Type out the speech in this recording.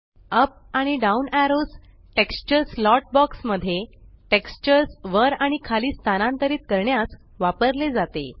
up आणि down arrows texture slot box मध्ये textures वर आणि खाली स्थानांतरित करण्यास वापरले जाते